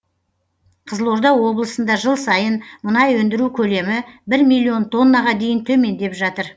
қызылорда облысында жыл сайын мұнай өндіру көлемі бір миллион тоннаға дейін төмендеп жатыр